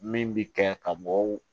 Min bi kɛ ka mɔgɔw